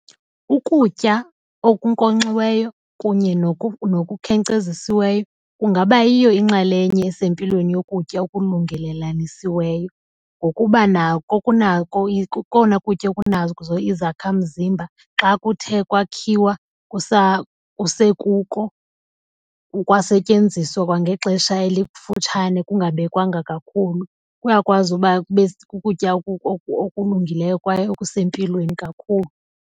Ukutya okunkonkxiweyo kunye nokukhenkcezisiweyo kungaba yiyo inxalenye esempilweni yokutya okulungelelanisiweyo ngokuba nako kunako kokona kutya okunazo izakhamzimba xa kuthe kwakhiwa kusekuko, kwasetyenziswa kwangexesha elifukutshane kungabekwanga kakhulu kuyakwazi uba kube kukutya okulungileyo kwaye okusempilweni kakhulu.